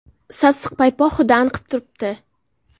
Sassiq paypoq hidi anqib turibdi.